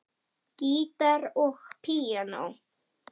Gítar og píanó.